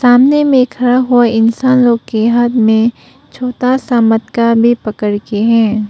सामने में खड़ा हुआ इंसानों के हाथ में छोटा सा मटका भी पकड़ के है।